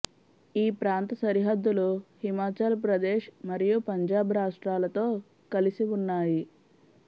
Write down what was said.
ఈ ప్రాంత సరిహద్దులు హిమాచల్ ప్రదేశ్ మరియు పంజాబ్ రాష్ట్రాలతో కలసి వున్నాయి